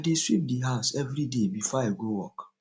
i dey sweep the house everyday before i go work